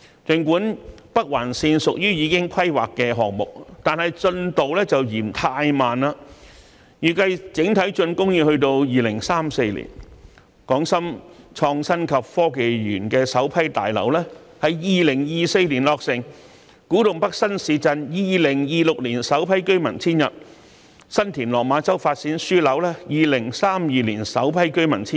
儘管北環綫屬於已規劃項目，但進度卻略嫌太慢，現時預計整體竣工要到2034年；港深創新及科技園首批大樓在2024年落成；古洞北新市鎮在2026年首批居民遷入，以及新田/落馬洲發展樞紐在2032年首批居民遷入。